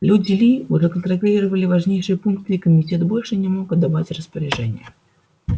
люди ли уже контролировали важнейшие пункты и комитет больше не мог отдавать распоряжения